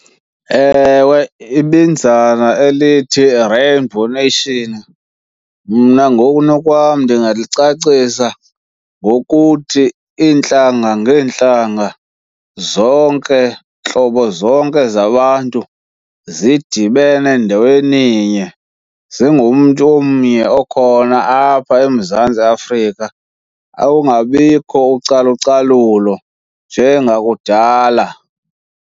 Ewe, ibinzana elithi rainbow nation mna ngokunokwam ndingalucacisa ngokuthi, iintlanga ngeentlanga zonke, ntlobo zonke zabantu zidibene ndaweninye zingumntu omnye okhona apha eMzantsi Afrika. Awungabikho ucalucalulo njengakudala.